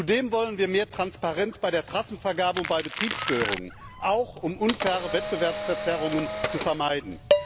Zudem wollen wir mehr Transparenz bei der Trassenvergabe und bei Betriebsstörungen, auch um unfaire Wettbewerbsverzerrungen zu vermeiden.